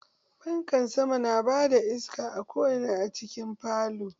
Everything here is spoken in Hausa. Fanka sama na ba da iska ko'ina a cikin falo.